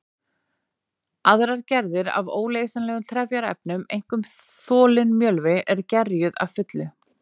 Aðrar gerðir af óleysanlegum trefjaefnum, einkum þolinn mjölvi, eru gerjuð að fullu.